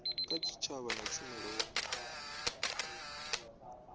kha tshitshavha na tshumelo ya